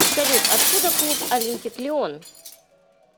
салют откуда клуб олимпик лион